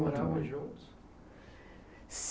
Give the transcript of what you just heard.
Moravam juntos?